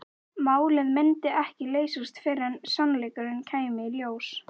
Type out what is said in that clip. Málið myndi ekki leysast fyrr en sannleikurinn kæmi í ljós.